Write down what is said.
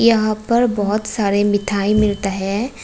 यहां पर बहुत सारे मिठाई मिलता है।